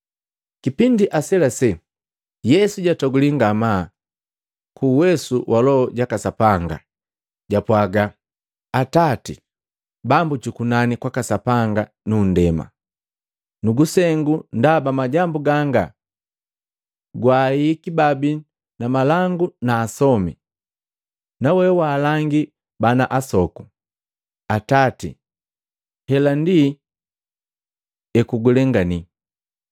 Kipindi aselasela, Yesu jatoguliya ngamaa ku uwesu wa Loho jaka Sapanga, japwaaga, “Atati, Bambu jukunani kwaka Sapanga nu kundema, nukusengu ndaba majambu ganga gwaahihiki babi na malangu na asomi, nawe waalangi bana asoku! Atati, hela ndi ekugulengani.”